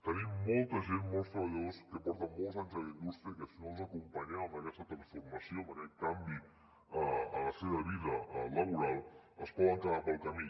tenim molts treballadors que porten molts anys a la indústria i que si no els acompanyem en aquesta transformació en aquest canvi en la seva vida laboral es poden quedar pel camí